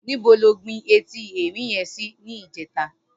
Nibó ló gbin éti èrín yèn si nijètá?